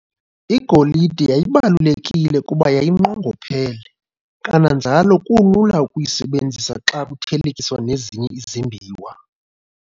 igolide yayibalulekile kuba yayinqongophele, kananjalo kulula ukuyisebenzisa xa kuthelekiswa nezinye izimbiwa.